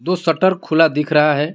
वो शटर खुला दिख रहा है।